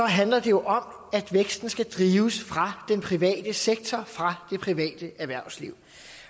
handler det om at væksten skal drives fra den private sektor fra det private erhvervsliv